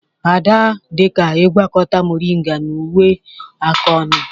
Ada dị ka ịgwakọta moringa na uwe aka ọnụ